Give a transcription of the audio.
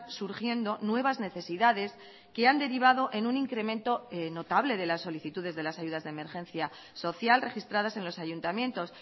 surgiendo nuevas necesidades que han derivado en un incremento notable de las solicitudes de las ayudas de emergencia social registradas en los ayuntamientos